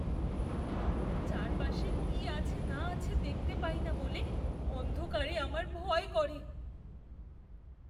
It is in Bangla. চারপাশে কি আছে না আছে দেখতে পাই না বলে অন্ধকারে আমার ভয় করে।